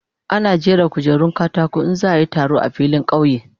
Ana jera kujerun katako in za a yi taro a filin kauye.